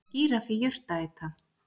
Er gíraffi jurtaæta?